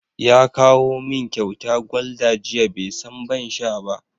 Ya kawo min kyauta Gulder jiya, bai san ban sha ba.